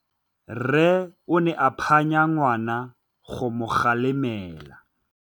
Rre o ne a phanya ngwana go mo galemela.